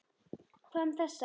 Hvað um þessa?